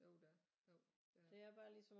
Jo der er jo det er